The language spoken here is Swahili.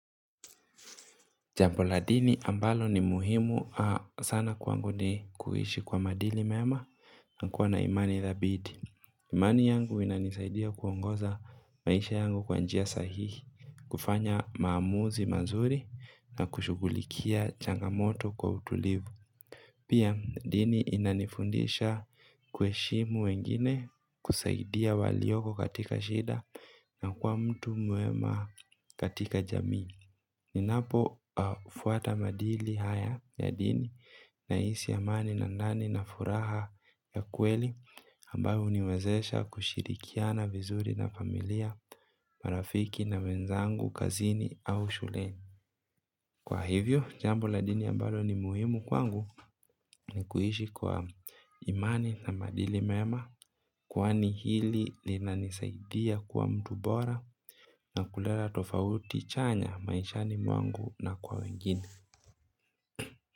Jambo la dini ambalo ni muhimu sana kwangu ni kuishi kwa maadili mema. Nakuwa na imani dhabiti imani yangu inanisaidia kuongoza maisha yangu kwa njia sahihi, kufanya maamuzi mazuri na kushughulikia changamoto kwa utulivu. Pia dini inanifundisha ku heshimu wengine kusaidia walioko katika shida. Na kuwa mtu mwema katika jami. Ninapo fuata madili haya ya dini na hisi amani na ndani na furaha ya kweli ambayo huniwezesha kushirikiana vizuri na familia, marafiki na wenzangu, kazini au shuleni. Kwa hivyo, jambo la dini ambalo ni muhimu kwangu ni kuishi kwa imani na maadili mema kwani hili linanisaidia kuwa mtu bora na kuleta tofauti chanya maishani mwangu na kwa wengine.